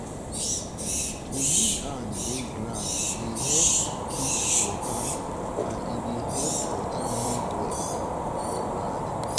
to use hand break um ground dey help keep um water and e dey help water move well for um ground.